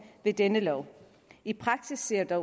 i denne lov i praksis ser det